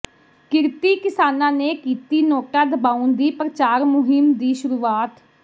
ਕਿਰਤੀ ਕਿਸਾਨਾਂ ਨੇ ਕੀਤੀ ਨੋਟਾ ਦਬਾਉਣ ਦੀ ਪ੍ਰਚਾਰ ਮੁਹਿੰਮ ਦੀ ਸ਼ੁਰੂਆਤ